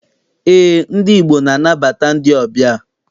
Eé, ndị Igbo na- anabata ndị ọbịa.